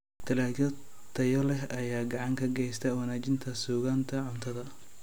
Dalagyo tayo leh ayaa gacan ka geysta wanaajinta sugnaanta cuntada.